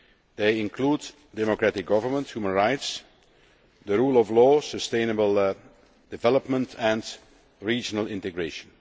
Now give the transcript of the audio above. They include democratic government, human rights, the rule of law, sustainable development and regional integration.